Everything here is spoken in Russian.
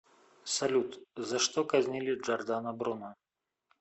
салют за что казнили джордано бруно